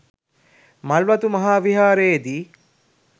මල්වතු මහා විහාරයේදී